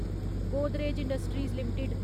Godrej industries limited